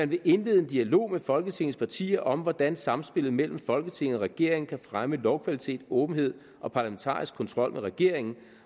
vil indlede en dialog med alle folketingets partier om hvordan samspillet mellem folketinget og regeringen kan fremme lovkvalitet åbenhed og parlamentarisk kontrol med regeringen